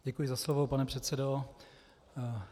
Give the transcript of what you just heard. Děkuji za slovo, pane předsedo.